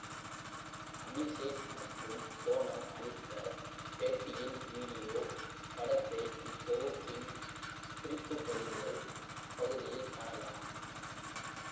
அபிஷேக் மற்றும் சோனம் அளித்த பேட்டியின் விடியோ படத்தை இத்தொகுப்பின் குறிப்பு பதிவுகள் பகுதியில் காணலாம்